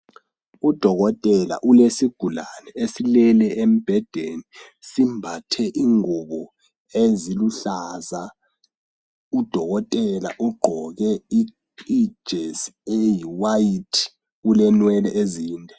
Udokotela ule sigulane esilele embhedeni simbathe ingubo eziluhlaza udokotela ugqoke ijesi eyiwhite ulenwele ezinde.